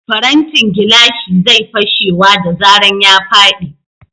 Farantin gilashi zai fashewa da zaran ya faɗi.